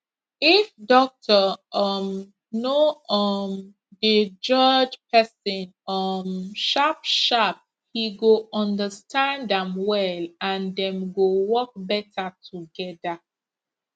if doctor um no um dey judge person um sharpsharp he go understand am well and dem go work better together